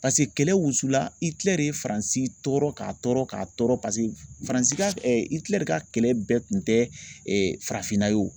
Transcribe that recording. Paseke kɛlɛ wusula itilɛri ye Faransi tɔɔrɔ k'a tɔɔrɔ k'a tɔɔrɔ paseke Faransi ka Itilɛri ka kɛlɛ bɛɛ tun tɛ farafinna ye o